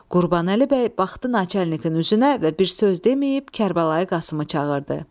Qurbanəli bəy baxdı naçalnikin üzünə və bir söz deməyib Kərbəlayı Qasımı çağırdı.